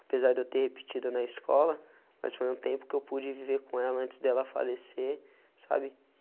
Apesar de eu ter repetido na escola, mas foi um tempo que eu pude viver com ela antes dela falecer, sabe?